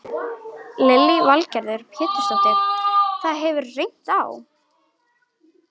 Lillý Valgerður Pétursdóttir: Það hefur reynt á?